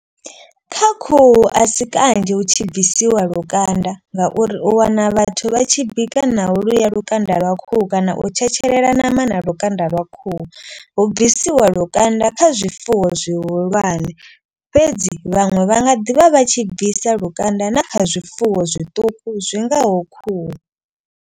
Kha khuhu a si kanzhi hu tshi bvisiwa lukanda ngauri u wana vhathu vha tshi bika naho luya lukanda lwa khuhu. Kana u tshetshelela nama na lukanda lwa khuhu hu bvisiwa lukanda kha zwifuwo zwihulwane. Fhedzi vhaṅwe vha nga ḓivha vha tshi bvisa lukanda na kha zwifuwo zwiṱuku zwi ngaho khuhu.